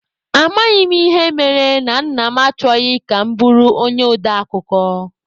Amaghị m ịhe mere na Nna m achọghị ka m bụrụ onye ode akụkọ.